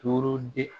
Torodi